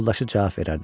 Yoldaşı cavab verərdi: